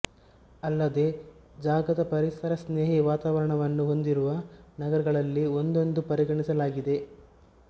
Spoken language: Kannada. ಅಲ್ಲದೆ ಜಗದ ಪರಿಸರಸ್ನೇಹಿ ವಾತಾವರಣವನ್ನು ಹೊಂದಿರುವ ನಗರಗಳಲ್ಲಿ ಒಂದೆಂದೂ ಪರಿಗಣಿಸಲಾಗಿದೆ